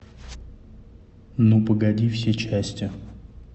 ну погоди все части